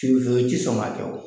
I ti sɔn ka kɛ o